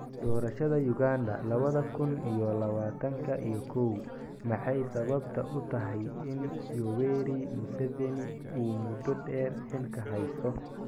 Doorashada Uganda lawadha kun iyo lawatanka iyo kow: Maxay sababtu u tahay in Yoweri Museveni uu muddo dheer xilka haysto?